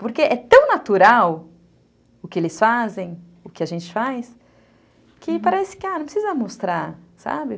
Porque é tão natural o que eles fazem, o que a gente faz, que parece que, ah, não precisa mostrar, sabe?